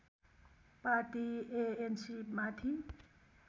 party ANC माथि